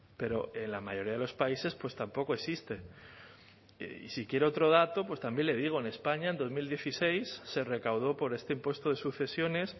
pero en la mayoría de los países pues tampoco existe y si quiere otro dato pues también le digo en españa en dos mil dieciséis se recaudó por este impuesto de sucesiones